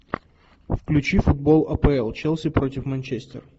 включи футбол апл челси против манчестер